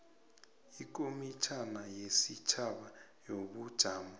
ikomitjhana yesitjhaba yobujamo